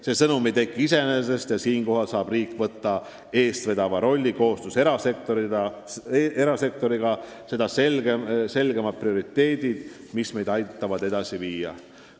See sõnum ei teki iseenesest ning siinkohal saab riik võtta eestvedaja rolli ja koostöös erasektoriga seada selgemad prioriteedid, mis meid edasi viivad.